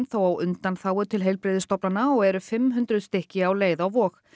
þó á undanþágu til heilbrigðisstofnana og eru fimm hundruð stykki á leið á Vog